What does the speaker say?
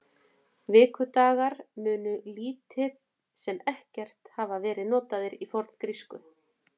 Vikudagar munu lítið sem ekkert hafa verið notaðir í forngrísku.